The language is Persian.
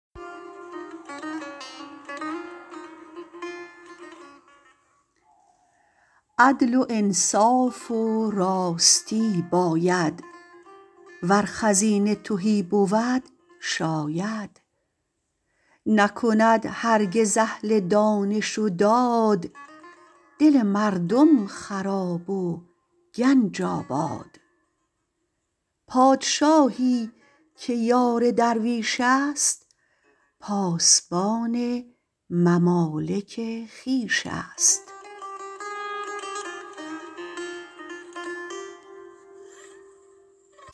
عدل و انصاف و راستی باید ور خزینه تهی بود شاید نکند هرگز اهل دانش و داد دل مردم خراب و گنج آباد پادشاهی که یار درویشست پاسبان ممالک خویشست